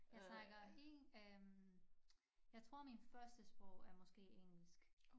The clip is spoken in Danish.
Jeg snakker i øh jeg tror min førstesprog er måske engelsk